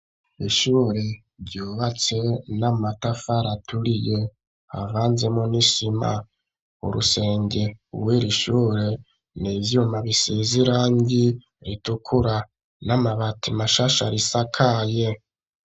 Ishure ryubatse n'amatafari aturiye havanzemwo n'isima urusenge rwiri shure n'ivyuma bisize irangi ritukura n'amabati mashasha risakaye